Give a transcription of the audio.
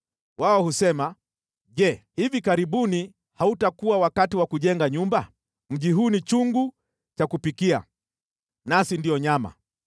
Wao husema, ‘Je, hivi karibuni hautakuwa wakati wa kujenga nyumba? Mji huu ni chungu cha kupikia, nasi ndio nyama.’